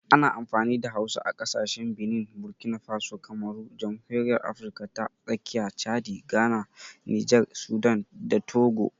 Ana amfani da Hausa a kasashen Benin, Burkina Faso, Kamaru, Jamhuriyar Afirka ta Tsakiya, Chadi, Ghana, Nijar, Sudan, da Togo.